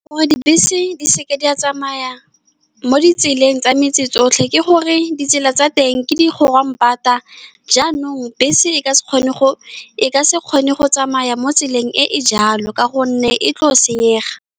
Gore dibese di se ka di a tsamaya mo ditseleng tsa metse tsotlhe, ke gore ditsela tsa teng ke di grondpad. Jaanong bese e ka se kgone go tsamaya mo tseleng e e jalo ka gonne e tlile go senyega.